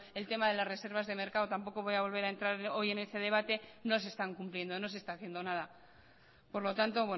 el tema de las reservas de mercado tampoco voy a volver a entrar hoy en ese debate no se están cumpliendo no se está haciendo nada por lo tanto